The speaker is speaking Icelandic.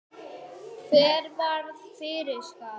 Hver varð fyrir skaða?